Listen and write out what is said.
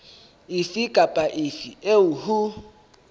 efe kapa efe eo ho